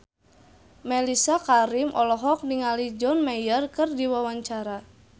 Mellisa Karim olohok ningali John Mayer keur diwawancara